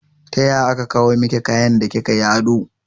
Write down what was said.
Taya aka kawo miki kayan da kika yi oda?